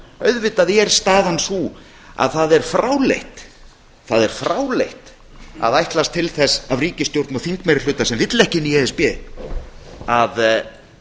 auðvitað er staðan sú að það er fráleitt að ætlast til þess af ríkisstjórn og þingmeirihluta sem vill ekki inn í e s b að